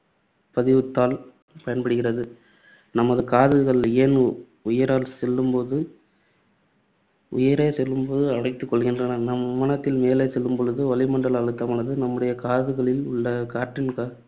பதிவுத்தாள் பயன்படுகிறது. நமது காதுகள் ஏன் உயர செல்லும்போது உயரே செல்லும்போது அடைத்துக் கொள்கின்றன? நாம் விமானத்தில் மேலே செல்லும்பொழுது வளிமண்டல அழுத்தமானது நம்முடைய காதுகளில் உள்ள காற்றின் க~